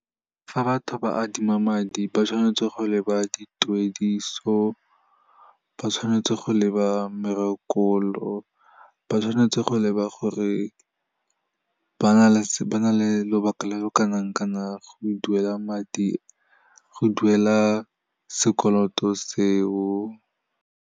Fa batho ba adima madi, ba tshwanetse go leba dituediso, ba tshwanetse go leba , ba tshwanetse go leba gore ba na le lobaka lo lo kanang kanang go duela sekoloto seo.